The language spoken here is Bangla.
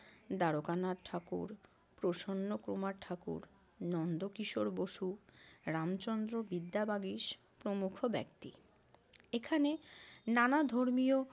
দ্বারকানাথ ঠাকুর, প্রসন্নকুমার ঠাকুর, নন্দকিশোর বসু, রামচন্দ্র বিদ্যাবাগীশ প্রমুখ ব্যক্তি। এখানে নানা ধর্মীয়